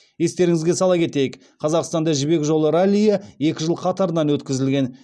естеріңізге сала кетейік қазақстанда жібек жолы раллиі екі жыл қатарынан өткізілген